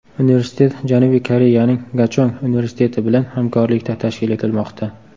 Universitet Janubiy Koreyaning Gachong universiteti bilan hamkorlikda tashkil etilmoqda.